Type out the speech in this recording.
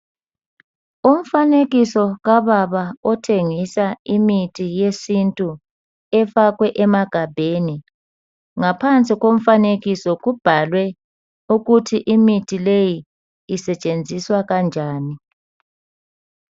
Umfanekiso kababa othengisa imithi yesintu efakwe emagabheni. Ngaphansi komfanekiso kubhalwe ukuthi imithi leyi isetshenziswa kanjani.